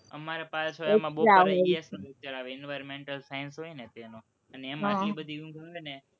અમારે પાછળ environmental science હોય ને તેનો અને તેમાં એટલી બધી ઊંઘ આવે ને કે